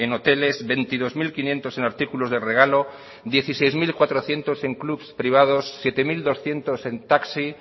hoteles veintidós mil quinientos en artículos de regalo dieciséis mil cuatrocientos en clubs privados siete mil doscientos en taxi